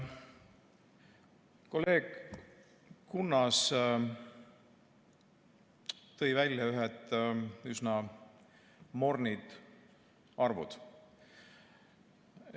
Kolleeg Kunnas tõi välja ühed üsna mornid arvud.